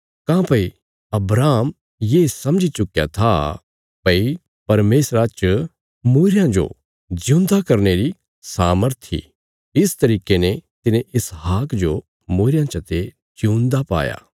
काँह्भई अब्राहम ये समझी चुक्कया था भई परमेशरा च मूईरयां जो जिऊंदा करने री सामर्थ इ इक तरिके ने तिने इसहाक जो मूईरयां चते जिऊंदा पाया